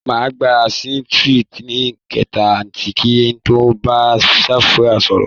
Màá gba rìsíìtì ní káńtà kí n tó bá kaṣíà sọ̀rọ̀